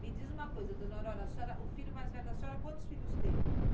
Me diz uma coisa, dona Aurora, a senhora, o filho mais velho da senhora, quantos filhos teve?